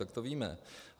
Tak to víme.